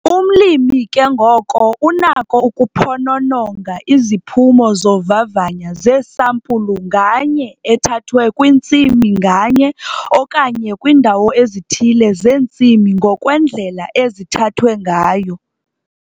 Umlimi ke ngoko unako ukuphonononga iziphumo zovavanya zesampulu nganye ethathwe kwintsimi nganye okanye kwiindawo ezithile zeentsimi ngokwendlela ezithathwe ngayo.